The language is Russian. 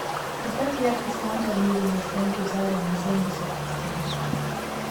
поставь яркость лампа в мебельной стенке в зале на семьдесят процентов